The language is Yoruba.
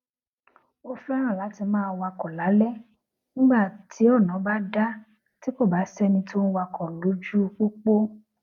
ó féràn láti máa wakò lálé nígbà ti ona ba da ti kò bá séni tó ń wakò lójú popo